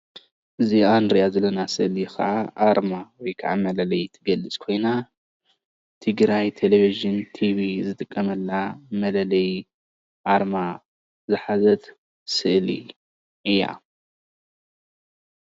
እዛ ንሪአ ዘለና ስእሊ ከዓ አርማ ወይ ከዓ መለለየ ትገልፅ ኮይና ትግራይ ቴልቭዥን ቲቪ ዝጥቀመላ መለለይ አርማ ዝሓዘት ስእሊ እያ፡፡